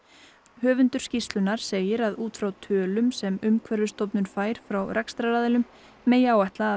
höfundur skýrslunnar segir að út frá tölum sem Umhverfisstofnun fær frá rekstraraðilum megi áætla að